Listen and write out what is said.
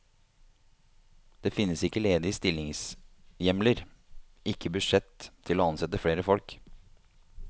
Det finnes ikke ledige stillingshjemler, ikke budsjett til å ansette flere folk.